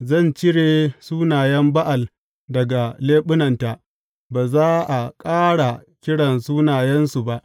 Zan cire sunayen Ba’al daga leɓunanta; ba za a ƙara kira sunayensu ba.